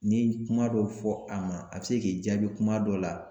Ni ye kuma dɔ fɔ a ma a bi se k'i jaabi kuma dɔ la